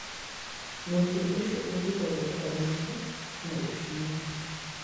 Mũtĩ ũcio ũngĩkorũo ũkomete, no ũcinwo.